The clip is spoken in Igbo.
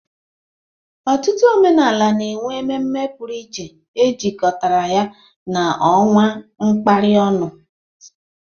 Ọtụtụ omenala na-enwe ememme pụrụ iche e jikọtara ya na ọnwa a kapịrị ọnụ.